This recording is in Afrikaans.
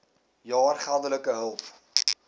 jaar geldelike hulp